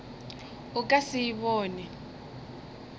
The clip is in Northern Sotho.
o ka se e bone